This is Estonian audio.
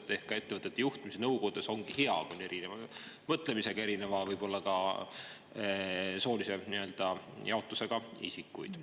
Ehk siis, ettevõtete ja nõukogude puhul ongi hea, kui seal on erineva mõtlemisega ja võib-olla ka erineva soolise jaotusega isikuid.